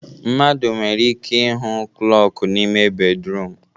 Mmadụ nwere ike ịhụ klọku n'ime ya bedruum